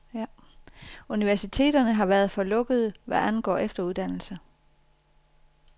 Universiteterne har været for lukkede, hvad angår efteruddannelse.